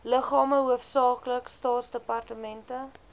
liggame hoofsaaklik staatsdepartemente